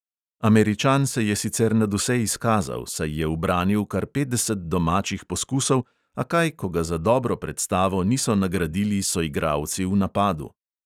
Američan se je sicer nadvse izkazal, saj je ubranil kar petdeset domačih poskusov, a kaj, ko ga za dobro predstavo niso nagradili soigralci v napadu.